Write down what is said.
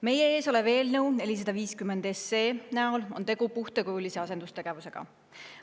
Meie ees oleva eelnõu 450 puhul on tegu puhtakujulise asendustegevusega.